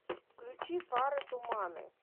включи фары туманы